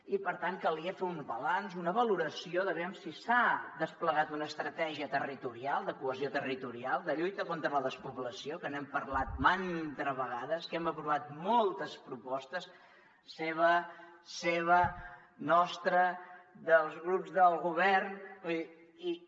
i per tant calia fer un balanç una valoració de veure si s’ha desplegat una estratègia territorial de cohesió territorial de lluita contra la despoblació que n’hem parlat mantes vegades que hem aprovat moltes propostes seva nostra dels grups del govern vull dir